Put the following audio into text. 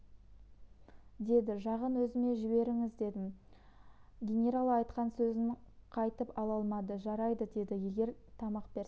деді жағын өзіме жіберіңіз дедім генерал айтқан сөзін қайтып ала алмады жарайды деді егер тамақ берсем